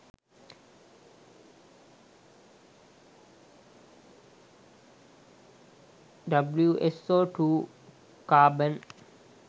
wso2 carbon